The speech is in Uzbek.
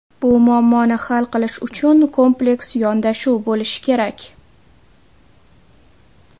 Bu muammoni hal qilish uchun kompleks yondashuv bo‘lishi kerak.